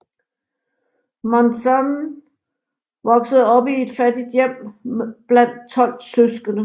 Monzon voksede op i et fattigt hjem blandt 12 søskende